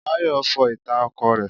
Báyọ̀ fọ ìta ọkọ̀ rẹ.